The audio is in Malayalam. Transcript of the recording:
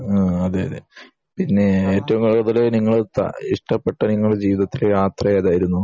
ആഹ് അതെയതെ പിന്നെ ഏറ്റവും കൂടുതൽ നിങ്ങൾ ഇഷ്ടപെട്ട നിങ്ങളുടെ ജീവിതത്തിലെ യാത്ര ഏതായിരുന്നു